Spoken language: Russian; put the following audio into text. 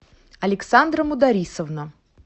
александра мударисовна